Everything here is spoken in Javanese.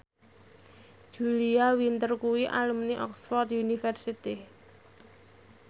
Julia Winter kuwi alumni Oxford university